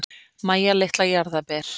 Mæja litla jarðarber.